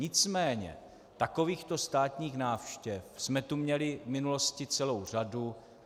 Nicméně takovýchto státních návštěv jsme tu měli v minulosti celou řadu.